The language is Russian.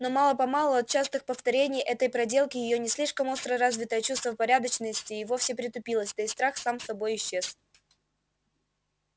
но мало-помалу от частых повторений этой проделки её не слишком остро развитое чувство порядочности и вовсе притупилось да и страх сам собой исчез